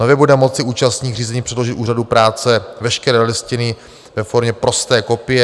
Nově bude moci účastník řízení předložit úřadu práce veškeré listiny ve formě prosté kopie.